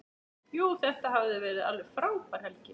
Jú, þetta hafði verið alveg frábær helgi.